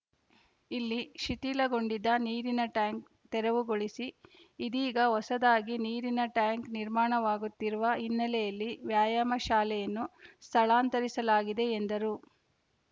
ಇಲ್ಲಿ ಶಿಥಿಲಗೊಂಡಿದ್ದ ನೀರಿನ ಟ್ಯಾಂಕ್‌ ತೆರವುಗೊಳಿಸಿ ಇದೀಗ ಹೊಸದಾಗಿ ನೀರಿನ ಟ್ಯಾಂಕ್‌ ನಿರ್ಮಾಣವಾಗುತ್ತಿರುವ ಹಿನ್ನೆಲೆಯಲ್ಲಿ ವ್ಯಾಯಾಮ ಶಾಲೆಯನ್ನು ಸ್ಥಳಾಂತರಿಸಲಾಗಿದೆ ಎಂದರು